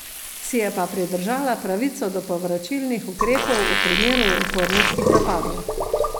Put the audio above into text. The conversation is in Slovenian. Si je pa pridržala pravico do povračilnih ukrepov v primeru uporniških napadov.